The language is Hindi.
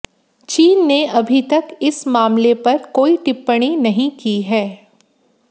चीन ने अभी तक इस मामले पर कोई टिप्पणी नहीं की है